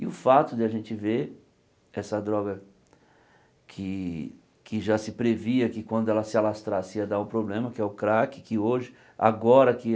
E o fato de a gente ver essa droga que que já se previa que quando ela se alastrasse ia dar o problema, que é o crack, que hoje, agora que